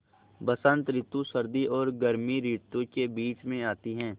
बसंत रितु सर्दी और गर्मी रितुवो के बीच मे आती हैँ